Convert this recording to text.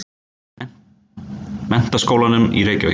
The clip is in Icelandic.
Menntaskólanum í Reykjavík.